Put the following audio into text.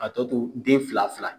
A tɔ to den fila fila